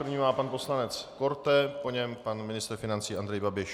První má pan poslanec Korte, po něm pan ministr financí Andrej Babiš.